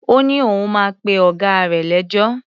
Ó ní òun máa pe ọ̀gá rè lẹ́jọ́.